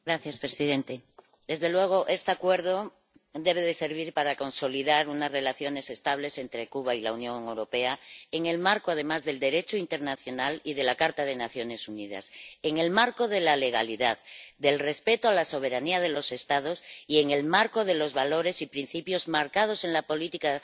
Señor presidente, desde luego, este Acuerdo debe servir para consolidar unas relaciones estables entre Cuba y la Unión Europea en el marco, además, del Derecho internacional y de la Carta de las Naciones Unidas, en el marco de la legalidad, del respeto de la soberanía de los Estados, y en el marco de los valores y principios marcados en la política